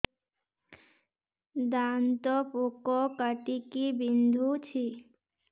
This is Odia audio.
ଦାନ୍ତ ପୋକ କାଟିକି ବିନ୍ଧୁଛି